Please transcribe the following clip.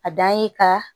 A dan ye ka